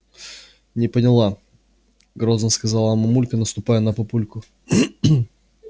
не поняла грозно сказала мамулька наступая на папульку